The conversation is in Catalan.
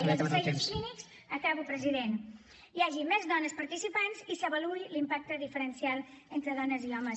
i als assajos clínics acabo president hi hagi més dones participants i s’avaluï l’impacte diferencial entre dones i homes